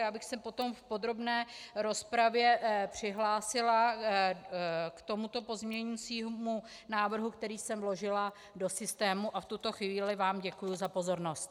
Já bych se potom v podrobné rozpravě přihlásila k tomuto pozměňovacímu návrhu, který jsem vložila do systému, a v tuto chvíli vám děkuji za pozornost.